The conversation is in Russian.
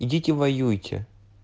идите воюйте